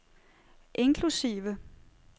inklusive